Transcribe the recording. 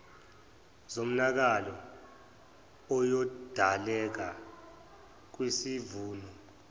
zomonakalo oyodaleka kwisivuno